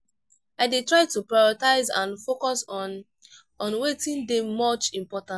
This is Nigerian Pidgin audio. i dey try to prioritize and focus on on wetin dey much important.